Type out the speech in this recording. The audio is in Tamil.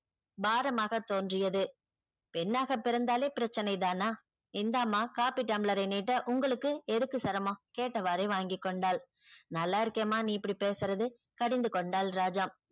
பாரமாக தோன்றியது பெண்ணாக பிறந்தாலே பிரச்சனை தானா இந்தாம்மா காபி டம்ளாரை நீட்ட உங்களுக்கு எதுக்கு சிரமம் கேட்டவாரே வாங்கிக்கொண்டாள். நல்லா இருக்கேம்மா நீ இப்படி பேசுறது கடிந்து கொண்டால் ராஜம்.